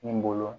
N bolo